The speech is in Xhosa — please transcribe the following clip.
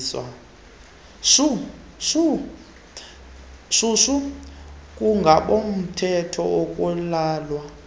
shushu ngabomthetho akulalwa